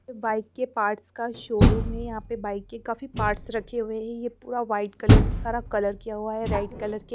bike के parts का showroom है यहां पे बाइक के काफी पार्ट्स रखे हुए हैं यह पूरा वाइट कलर से सारा कलर किया हुआ है रेड कलर के--